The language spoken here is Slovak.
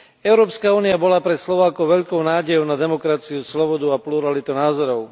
Európska únia bola pre Slovákov veľkou nádejou na demokraciu, slobodu a pluralitu názorov.